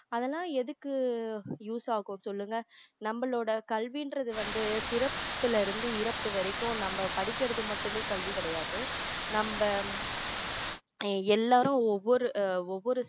அதெல்லாம் எதுக்கு use ஆகும் சொல்லுங்க நம்மளோட கல்வின்றது வந்து பிறப்பில இருந்து இறப்பு வரைக்கும் நம்ம படிக்கிறது மட்டுமே கல்வி கிடையாது நம்ம எல்லாரும் ஒவ்வொரு ஆஹ் ஒவ்வொரு